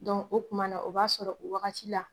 o tumana, o b'a sɔrɔ o wagati la